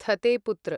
थते पुत्र